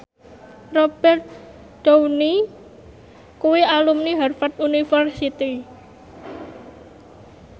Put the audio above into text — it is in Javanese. Robert Downey kuwi alumni Harvard university